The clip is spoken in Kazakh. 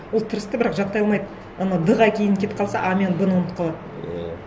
ол тырысты бірақ жаттай алмайды анау д ға кейін кетіп қалса а мен б ны ұмытып қалады иә